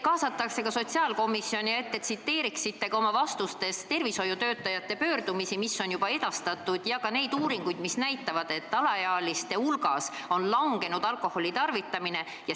Aga ma soovin, et te tsiteeriksite oma vastustes ka tervishoiutöötajate pöördumisi, mis on juba edastatud, ja ka neid uuringuid, mis näitavad, et alaealiste hulgas on langenud alkoholi tarvitamine.